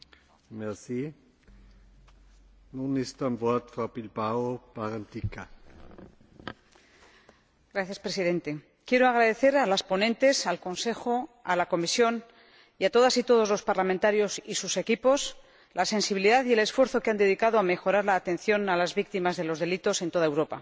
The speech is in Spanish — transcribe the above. Señor Presidente, quiero agradecer a las ponentes, al Consejo, a la Comisión y a todas y todos los parlamentarios y sus equipos la sensibilidad y el esfuerzo que han dedicado a mejorar la atención a las víctimas de los delitos en toda Europa.